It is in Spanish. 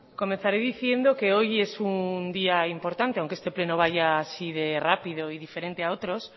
comenzaré diciendo que hoy es un día importante aunque este pleno vaya así de rápido y diferente a otros